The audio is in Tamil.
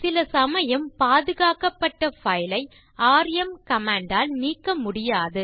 சில சமயம் பாதுகாக்கப்பட்ட பைல் ஐ ராம் கமாண்ட் ஆல் நீக்க முடியாது